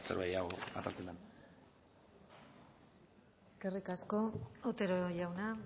zerbait gehiago azaltzen den eskerrik asko otero jauna